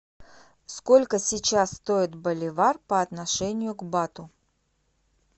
сколько сейчас стоит боливар по отношению к бату